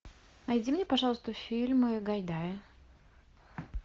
найди мне пожалуйста фильмы гайдая